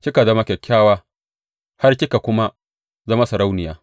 Kika zama kyakkyawa har kika kuma zama sarauniya.